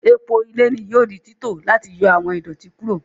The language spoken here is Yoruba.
Epo ilẹ ni yoo di tito lati yọ awọn idoti kuro.